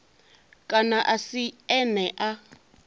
kana a si ene a